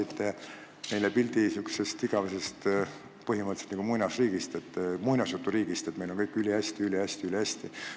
Te maalisite meile pildi põhimõtteliselt nagu igavesest muinasjuturiigist, et meil on kõik ülihästi, ülihästi, ülihästi.